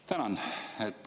Tänan!